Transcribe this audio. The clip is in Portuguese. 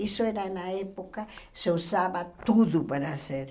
Isso era na época, se usava tudo para ser.